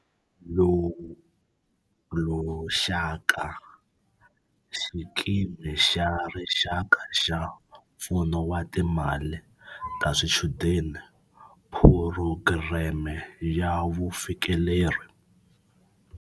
Lushaka, Xikimi xa Rixaka xa Pfuno wa Timali ta Swichudeni, Phurogireme ya Vufikeleri.